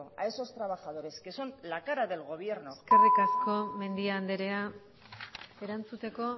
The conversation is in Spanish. a esos trabajadores que son la cara del gobierno eskerrik asko mendia andrea erantzuteko